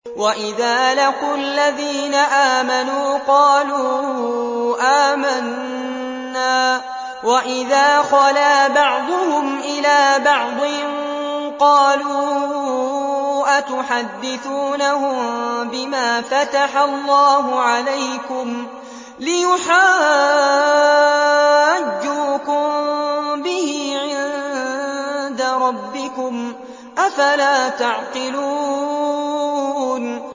وَإِذَا لَقُوا الَّذِينَ آمَنُوا قَالُوا آمَنَّا وَإِذَا خَلَا بَعْضُهُمْ إِلَىٰ بَعْضٍ قَالُوا أَتُحَدِّثُونَهُم بِمَا فَتَحَ اللَّهُ عَلَيْكُمْ لِيُحَاجُّوكُم بِهِ عِندَ رَبِّكُمْ ۚ أَفَلَا تَعْقِلُونَ